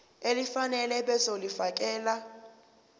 elifanele ebese ulifiakela